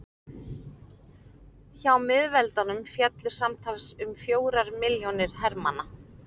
hjá miðveldunum féllu samtals um fjórir milljónir hermanna